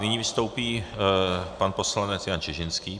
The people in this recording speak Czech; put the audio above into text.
Nyní vystoupí pan poslanec Jan Čižinský.